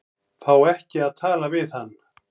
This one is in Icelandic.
Fá ekki að tala við hann